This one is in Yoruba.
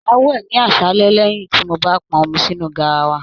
Máa wẹ ní aṣálẹ lẹyìn tí mó bá pọn omi sínú garawa.